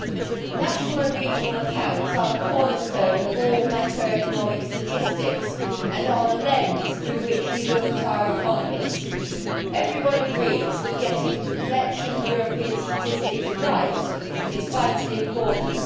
Mr President, national and regional accounts are the cornerstone of all macroeconomic statistics and are the lens through which we look at our economies. Everyone agrees that getting the collection of European statistics right is vitally important.